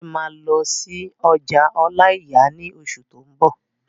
Laide máa lọ sí ọjà ọláìyà ní oṣù tó n bọ̀